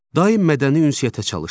Daim mədəni ünsiyyətə çalışın.